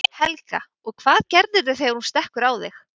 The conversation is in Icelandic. Helga: Og hvað gerirðu þegar hún stekkur á þig?